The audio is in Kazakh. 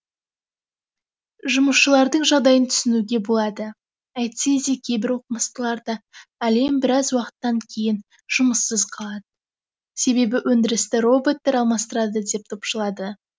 жұмысшылардың жағдайын түсінуге болады әйтсе де кейбір оқымыстылар да әлем біраз уақыттан кейін жұмыссыз қалады себебі өндірісті роботтар алмастырады деп топшылады